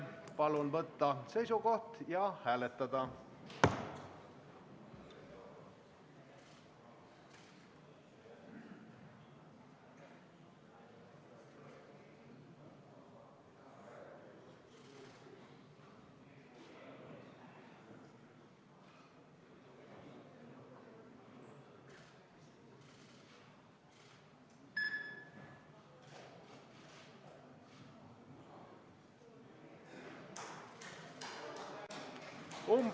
Palun võtta seisukoht ja hääletada!